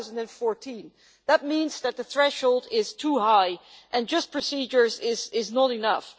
2014? That means that the threshold is too high and that procedures alone are not enough.